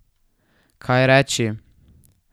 Kaj reči?